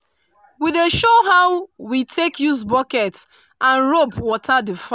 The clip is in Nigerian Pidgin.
we dey show how we take use bucket and rope water the farm